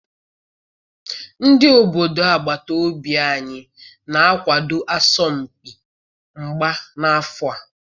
Ndi obodo agbata obi anyi na-akwado asọmpi mgba n'afọ a